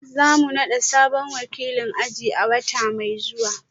Za mu nada sabon wakilin aji a wata mai zuwa